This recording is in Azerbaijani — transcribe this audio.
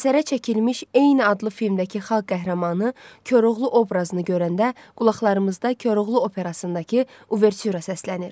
Əsərə çəkilmiş eyni adlı filmdəki xalq qəhrəmanı Koroğlu obrazını görəndə qulaqlarımızda Koroğlu Operasındakı Uvertüra səslənir.